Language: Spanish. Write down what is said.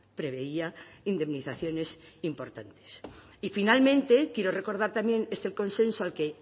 preveía indemnizaciones importantes y finalmente quiero recordar también este consenso al que